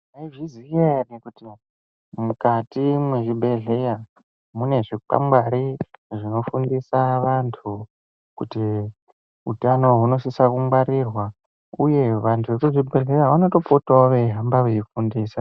Munozviziya ere kuti mukati mwezvibhehleya mune zvikwangwari zvinofundisa vantu kuti utano hunosisa kungwarirwa uye vantu vekuzvibhehleya vanotopotawo veihamba veifundisa.